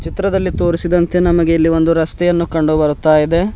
ಚಿತ್ರದಲ್ಲಿ ತೋರಿಸಿದಂತೆ ನಮಗೆ ಇಲ್ಲಿ ಒಂದು ರಸ್ತೆಯನ್ನು ಕಂಡು ಬರುತ್ತಾ ಇದೆ.